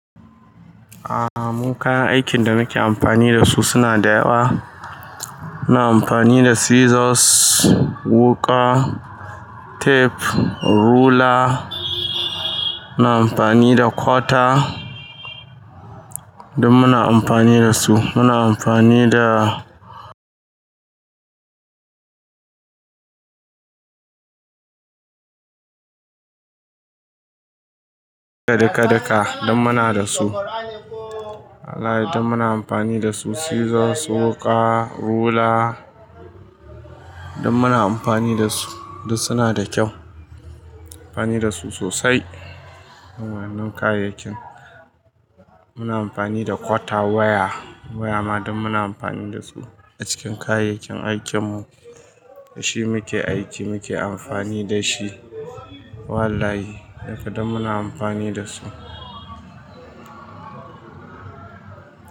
Aaa, mun kayan aikin da muke amfani da su suna da yawa. Muna amfani da scissors, wuƙa, tape, ruler, muna amfani da cutter, duk muna amfani da su. Muna amfani da kadeka daka, don muna da su. Wallahi don muna amfani da su. Scissors, wuƙa, ruler duk muna amfani da su. Duk suna da kyau, muna amfani da su sosai. Waɗannan kayayyakin muna amfani da cutter, waya, waya ma don muna amfani da su a cikin kayayyakin aikin mu. Da shi muke aiki, muke amfani da shi. Wallahi, duka muna amfani da su.